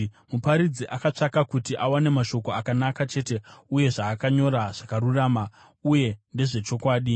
Muparidzi akatsvaka kuti awane mashoko akanaka chete, uye zvaakanyora zvakarurama uye ndezvechokwadi.